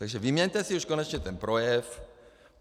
Takže vyměňte si už konečně ten projev.